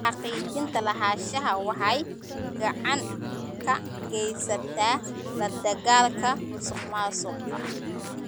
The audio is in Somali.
Xaqiijinta lahaanshaha waxay gacan ka geysataa la dagaalanka musuqmaasuqa.